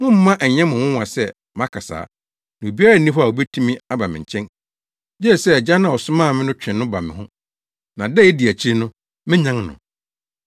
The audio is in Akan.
Mommma ɛnyɛ mo nwonwa sɛ maka saa, na obiara nni hɔ a obetumi aba me nkyɛn, gye sɛ Agya no a ɔsomaa me no twe no ba me ho, na da a edi akyiri no, menyan no.